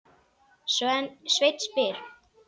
Sveinn spyr: